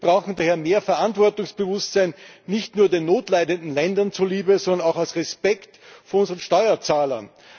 Wir brauchen daher mehr Verantwortungsbewusstsein, nicht nur den notleidenden Ländern zuliebe, sondern auch aus Respekt vor unseren Steuerzahlern.